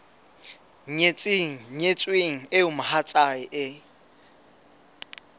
nyetseng nyetsweng eo mohatsae e